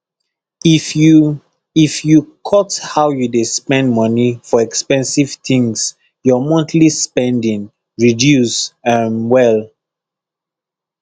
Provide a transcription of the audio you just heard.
if you if you cut how you dey spend moni for expensive tins your monthly spending reduce um well